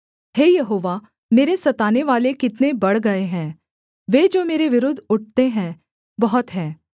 हे यहोवा मेरे सतानेवाले कितने बढ़ गए हैं वे जो मेरे विरुद्ध उठते हैं बहुत हैं